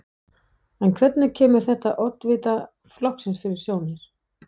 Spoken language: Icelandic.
En hvernig kemur þetta oddvita flokksins fyrir sjónir?